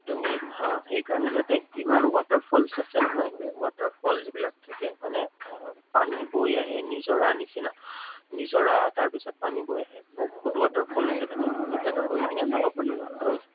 তুমি হা সেইকাৰনে তাতে ইমান water falls আছে নহয়, water falls যিবিলাক থাকে মানে, আহ পানী বৈ আহে নিজৰাৰ নিচিনা। নিজৰা তাৰপিছত পানী বৈ আহে। বহুত waterfall আছে তাতে, তুমি তাত গৈ কেনে চাব পাৰিবা। আৰু